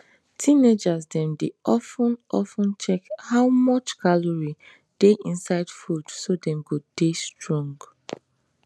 teenagers dem dey of ten of ten check how much calorie dey inside food so dem go dey strong